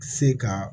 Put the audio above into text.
Se ka